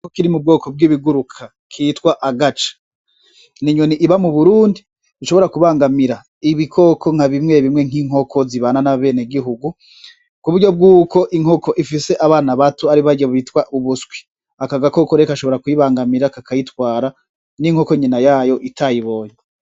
Igikoko kiri mu bwoko bw'ibiguruka, kitwa agaca, ni inyoni iba mu Burundi ishobora kubangamira ibikoko bimwe bimwe nk'inkoko zibana n'abenegihugu, ku buryo bwuko inkoko zifise abana bato ari barya bita ubuswi, aka gakoko rero gashobora kuyibangamira kakayitwara n'inkoko nyina yayo itayibonye.